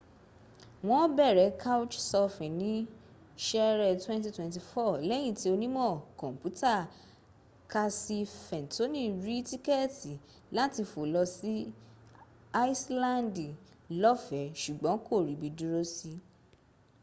won bere couchsurfing ni sere 2004 leyin ti onimo komputa kasi fentoni ri tikeeti lati fo lo si iselandi lofe sugbon ko ri bi duro s